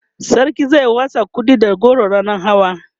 sarki zai watsa kuɗi da goro ranan hawa